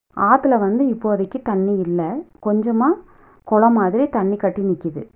ஆத்துல வந்து இப்போதைக்கு தண்ணி இல்ல கொஞ்சமா கொளம் மாதிரி தண்ணி கட்டி நிக்குது.